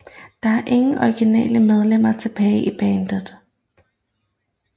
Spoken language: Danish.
Der er ingen originale medlemmer tilbage i bandet